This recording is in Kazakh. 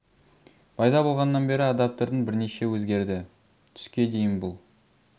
пайда болғаннан бері адаптердің бірнеше өзгерді түске дейін бұл